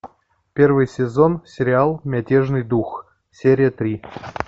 первый сезон сериал мятежный дух серия три